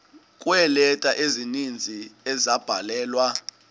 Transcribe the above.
kweeleta ezininzi ezabhalelwa